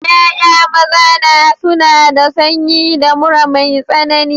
Ya'ya maza na suna da sanyi da mura mai tsanani.